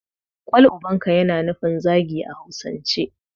Kwal ubanka' yana nufi zagi a hausance